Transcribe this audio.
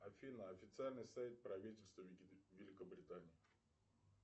афина официальный сайт правительства великобритании